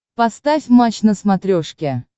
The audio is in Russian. поставь матч на смотрешке